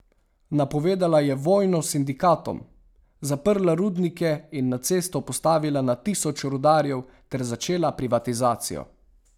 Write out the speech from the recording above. Napovedala je vojno sindikatom, zaprla rudnike in na cesto postavila na tisoče rudarjev ter začela privatizacijo.